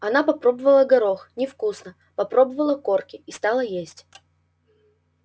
она попробовала горох невкусно попробовала корки и стала есть